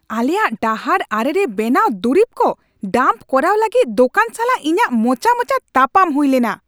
ᱟᱞᱮᱭᱟᱜ ᱰᱟᱦᱟᱨ ᱟᱲᱮᱨᱮ ᱵᱮᱱᱟᱣ ᱫᱩᱨᱤᱵ ᱠᱚ ᱰᱟᱢᱯ ᱠᱚᱨᱟᱣ ᱞᱟᱹᱜᱤᱫ ᱫᱳᱠᱟᱱ ᱥᱟᱞᱟᱜ ᱤᱧᱟᱹᱜ ᱢᱚᱪᱟ ᱢᱚᱪᱟ ᱛᱟᱯᱟᱢ ᱦᱩᱭ ᱞᱮᱱᱟ ᱾